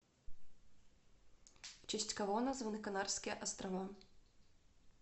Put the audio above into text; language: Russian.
в честь кого названы канарские острова